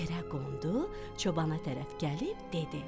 Yerə qondu, çobana tərəf gəlib dedi: